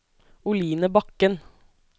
Oline Bakken